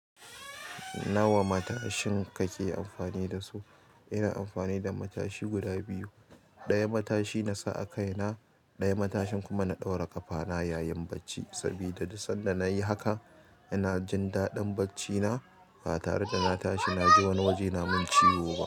Nawa matashin kake amfani da su? Ina amfani da matashi guda biyu. Ɗaya matashi na sa a kai na, ɗaya matashin kuma na ɗaura ƙafa na yayin bacci. Sabida duk sanda na yi haka, ina jin daɗin bacci na. Ba tare da na tashi, na je wani waje na mun ciwo ba.